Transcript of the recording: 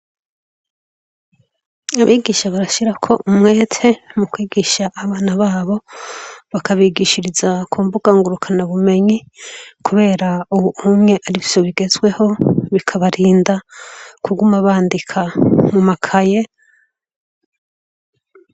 abigisha barashyirako umwete mu kwigisha abana babo bakabigishiriza kumbukangurukana bumenyi kubera ubu umwe arivyo bigezweho bikabarinda kuguma bandika mu makaye